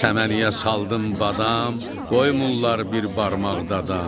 Səməniyə saldım badam, qoymurlar bir barmaq da adam.